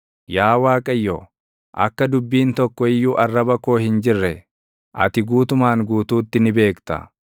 Yaa Waaqayyo, akka dubbiin tokko iyyuu arraba koo hin jirre, ati guutumaan guutuutti ni beekta.